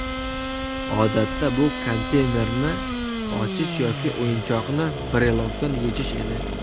Odatda bu konteynerni ochish yoki o‘yinchoqni brelokdan yechish edi.